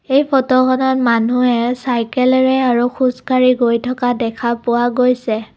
এই ফটোখনত মানুহে চাইকেলেৰে আৰু খোজকাঢ়ি গৈ থকা দেখা পোৱা গৈছে।